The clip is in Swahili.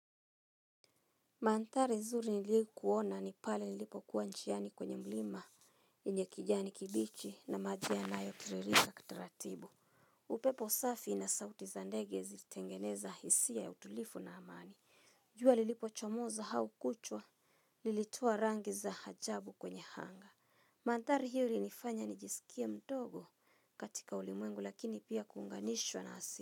Manthari zuri nilikuona ni pale nilipo kuwa njiani kwenye mlima yenye kijani kibichi na maji yanayotiririka kitaratibu. Upepo safi na sauti za ndege zilitengeneza hisia ya utulivu na amani jua lilipochomoza au kuchwa lilitoa rangi za ajabu kwenye anga. Manthari hiyo ilinifanya nijisikie mdogo katika ulimwengu lakini pia kuunganishwa na asi.